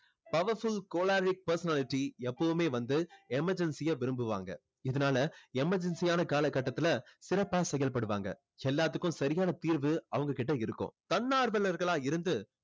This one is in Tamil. powerful choleric personality எப்பவுமே வந்து emergency அ விரும்புவாங்க இதனால emergency யான காலகட்டத்துல சிறப்பா செயல்படுவாங்க. எல்லாத்துக்கும் சரியான தீர்வு அவங்க கிட்ட இருக்கும். தன்னார்வலர்கள் இருந்து